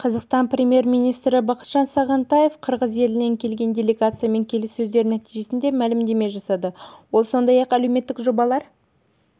қазақстан премьер-министрі бақытжан сағынтаев қырғыз елінен келген делегациямен келіссөздер нәтижесінде мәлімдеме жасады ол сондай-ақ әлеуметтік жобалар